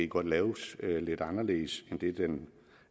kunne laves lidt anderledes end den